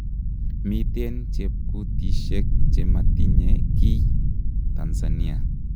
miten chepkutishek chematinye kiiy Tanzania